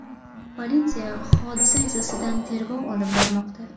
Politsiya hodisa yuzasidan tergov olib bormoqda.